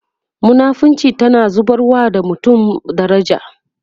munafinci tana zubarwa da mutum daraja